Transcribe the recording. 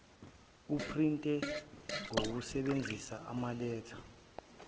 uprinte ngokusebenzisa amaletha